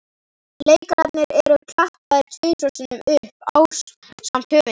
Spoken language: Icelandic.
Leikararnir eru klappaðir tvisvar sinnum upp ásamt höfundinum.